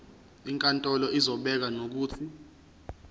inkantolo izobeka nokuthi